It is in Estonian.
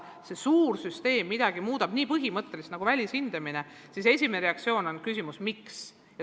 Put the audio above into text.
Kui sellises suures süsteemis muudetakse midagi nii põhimõtteliselt nagu välishindamine, siis esimene reaktsioon on küsimus "Miks?".